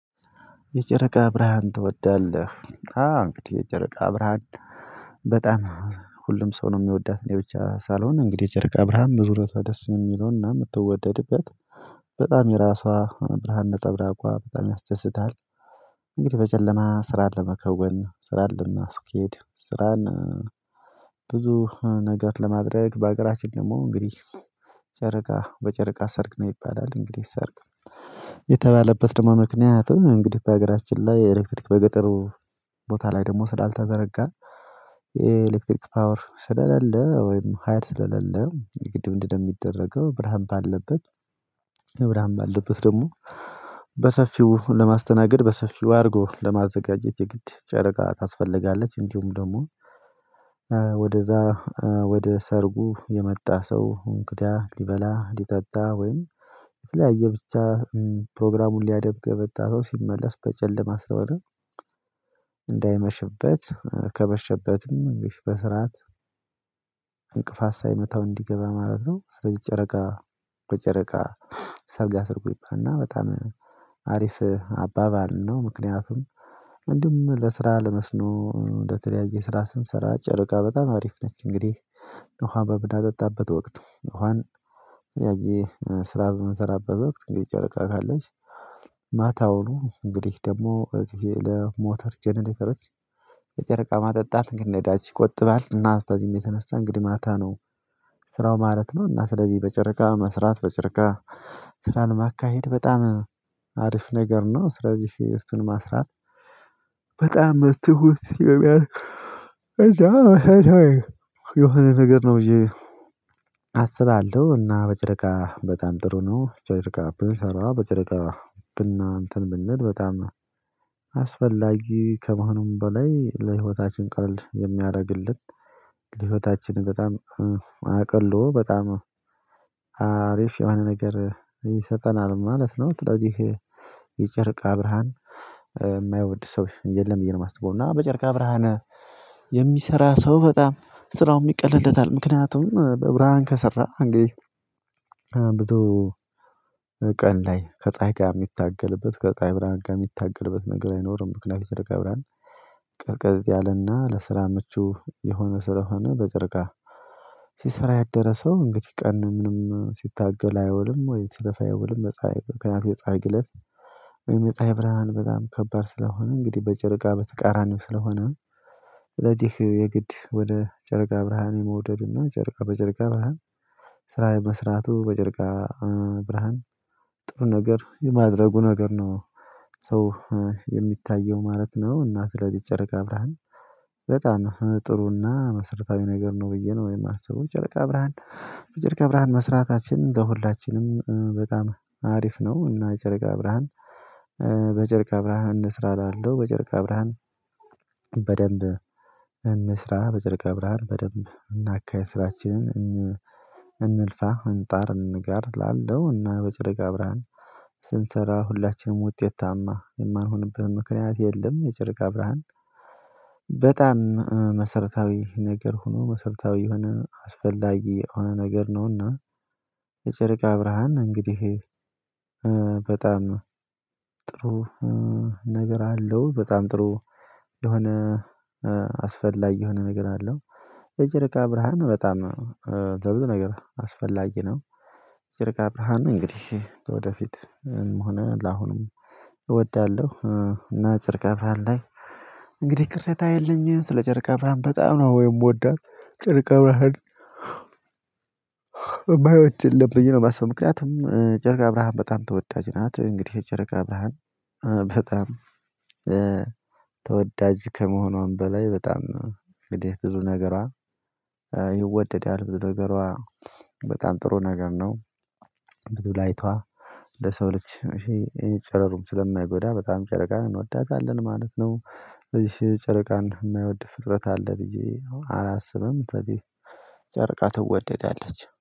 የጨረቃ ብርሃን ትወዳለህ? አዎ እንግድህ የጨረቃ ብርሃን በጣም ሁሉም ሰው ነው የሚወዳት እኔ ብቻ ሳልሆን እንግዲህ የጨርቃ ብርሃን በዙሪያዋ ደስ የሚለውና የምትወደድበት በጣም የራሷ ብርሃን ነፀብራቋ በጣም ያስደስታል። እንግዲህ በጨለማ ስራ ለመከወን ስራ ለማስኬድ ስራን። ብዙ ነገር ለማድረግ በሀገራችን ደግሞ እንግዲህ ጨረቃ በጨረቃ ሰርግ ነው ይባላል። እንግዲህ ሰርግ የተባለበት ደግሞ ምክንያቱም እንግዲህ በሀገራችን ላይ ኤሌክትሪክ በገጠሩ ቦታ ላይ ደግሞ ስላልተዘረጋ። የኤሌክትሪክ ፓወር ስለሌለ ወይም ሀይል ስለለለ የግድ ምንድነው ሚደረገው? ብርሃን ባለበት ብርሃን ባለበት ደግሞ በሰፊው ለማስተናገድ በሰፊው አድርጎ ለማዘጋጀት የግድ ጨረቃ ታስፈልጋለች። እንዲሁም ደግሞ ወደዛ ወደ ሰርጉ የመጣ ሰው እንግዳ ሊበላ ሊጠጣ ወይም የተለያየ ብቻ ፕሮግራሙን ሊያደምቅ የመጣ ሰው ሲመለስ በጨለማ ስለሆነ እንዳይመሽበት ከመሸበትም በስርዓት ሳይመታው እንዲገባ ማለት ነው። ስለዚህ ጨረቃ በጨረቃ ሰርግ አስርጉ ይባላል እና በጣም አሪፍ አባባል ነው። ምክንያቱም እንዲሁም ለስራ ለመስኖ ለተለያየ ስራ ስንሰራ ጨርቃ በጣም አሪፍ ነች። እንግዲህ ውሃ በምናጠጣበት ወቅት እንኳን ያዬ ስራ በምሰራበት ወቅት እንግዲህ ጨረቃ ካለች ማታውኑ እንግዲህ ደግሞ ሞተር ጀነሬተሮች የጨረቃ ማጠጣት እንግዲህ ነዳጅ ይቆጥባል እና በዚህም የተነሳ እንግዲህ ማታ ነው ስራው ማለት ነው። እና ስለዚህ በጨረቃ መስራት በጨረቃ ስራን ማካሄድ በጣም አሪፍ ነገር ነው። ስለዚህ እሱን ማስራት በጣም ትሁት የሚያ እና የሆነ ነገር ነው ብዬ አስባለሁ። እና በጨረቃ በጣም ጥሩ ነው ጨቅጭቃ ብንሰራ በጨርቃ ብና እንተን ብንል በጣም አስፈላጊ ከመሆኑም በላይ ለህይወታችን ቀርል የሚያደርግልን ለህይወታችን በጣም አቅሎ በጣም አሪፍ የሆነ ነገር ይሰጠናል ማለት ነው። ስለዚህ የጨርቃ ብርሃን የማይወድ ሰው የለም ብዬ ነው የማስበው። እና በጨርቃ ብርሃን የሚሰራ ሰው በጣም ስራውን የሚቀልልለታል ምክንያቱም በብርሃን ከሰራ አንግዲ ብዙ ቀን ላይ ከፀሀይ ጋር የሚታገልበት ከፀሀይ ብርሃን ጋር የሚታገልበት ነገር አይኖርም። ምክንያቱም የጨርቃ ብርሃን ቀዝቀዝ ያለና ለስራ ምቹ የሆነ ስራ ሆነ በጨርቃ ሲሰራ ያደረ ሰው እንግዲህ ቀን ምንም ሲታገል አየውልም ወይም ስለፋ አይውልም በጸሃይ ከዛ ግለት ወይም የፀሀይ ብርሃን በጣም ከባድ ስለሆነ እንግዲህ በጨረቃ በተቃራኒው ስለሆነ። ለዚህ የግድ ወደ ጨርቃ ብርሃን የመውደድ እና ጨርቃ በጨርቃ ብርሃን ስራ የመስራቱ በጨርቃ ብርሃን ጥሩ ነገር የማድረጉ ነገር ነው። ሰው ማለት ነው እናት ለዚህ ጨረቃ ብርሃን በጣም ጥሩና መሰረታዊ ነገር ነው ብዬ ነው የማስበው። ጨርቃ ብርሃን በጨርቃ ብርሃን መስራታችን ለሁላችንም በጣም አሪፍ ነው። እና የጨርቃ ብርሃን በጨርቃ ብርሃን እንስራ እላለሁ በጨርቃ ብርሃን በደንብ እንስራ በጨረቃ ብርሃን በደንብ እናካሂድ ስራችንን። እንልፋ እንጣር እንጋር እላለው እና በጨረቃ ብርሃን ስንሰራ ሁላችንም ውጤት ታማ የማይሆንበት ምክንያት የለም። የጨረቃ ብርሃን በጣም መሰረታዊ ነገር ሆኖ መሰረታዊ የሆነ አስፈላጊ የሆነ ነገር ነውና። የጨረቃ ብርሃን እንግዲህ በጣም ጥሩ ነገር አለው በጣም ጥሩ የሆነ የሆነ ነገር አለው። የጨርቃ ብርሃን በጣም ለብዙ ነገር አስፈላጊ ነው። ጨርቅ ብራሃን እንግዲህ ለወደፊትም ሆነ ለአሁንም እወዳለሁ። እና ጨርቃ ብርሃን ላይ እንግዲህ ቅርታ የለኝም ስለ ጨርቃ ብርሃን በጣም ነው የምወዳት ጨረቃ ብርሃን። ማይወድ የለም ብዬ ነው ማስበው ምክንያቱም ጨርቅ ብራሃን በጣም ተወዳጅ ናት። እንግዲህ የጨረቃ ብርሃን በጣም ተወዳጅ ከመሆኗም በላይ በጣም እንግዲህ ብዙ ነገሯ ይወደዳል ብዙ ነገሯ በጣም ጥሩ ነገር ነው። ብዙ ላይቷ ለሰው ልጅ እሺ ይሄ ጨረሩም ስለማይጎዳ በጣም ጨረቃ እንወዳታለን ማለት ነው። ስለዚህ ጨረቃን የማይወድ ፍጥረት አለ ብዬ አላስብም። ስለዚህ ጨረቃ ትወደዳለች